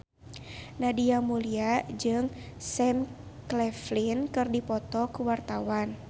Nadia Mulya jeung Sam Claflin keur dipoto ku wartawan